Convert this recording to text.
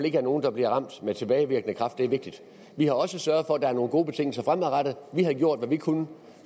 ikke er nogen der bliver ramt med tilbagevirkende kraft og det er vigtigt vi har også sørget for at der er nogle gode betingelser fremadrettet vi har gjort hvad vi kunne